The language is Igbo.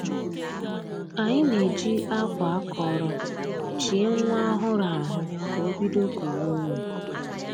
Anyị na-ejị akwa akọrọ chie nwa ọhụrụ ahụ ka o bido kuwe ume